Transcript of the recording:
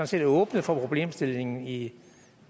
set åbnet for problemstillingen i